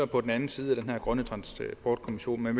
på den anden side af den her grønne transportkommission men